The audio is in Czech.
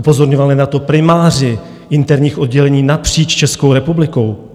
Upozorňovali na to primáři interních oddělení napříč Českou republikou.